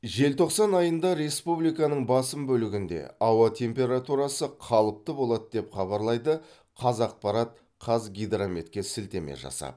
желтоқсан айында республиканың басым бөлігінде ауа температурасы қалыпты болады деп хабарлайды қазақпарат қазгидрометке сілтеме жасап